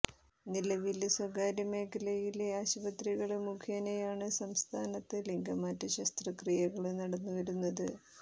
നിലവില് സ്വകാര്യ മേഖലയിലെ ആശുപത്രികള് മുഖേനയാണ് സംസ്ഥാനത്ത് ലിംഗമാറ്റ ശസ്ത്രക്രിയകള് നടന്നുവരുന്നത്